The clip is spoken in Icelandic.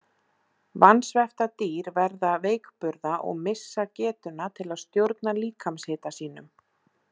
Vansvefta dýr verða veikburða og missa getuna til að stjórna líkamshita sínum.